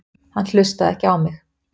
Hann hlustaði ekki á mig.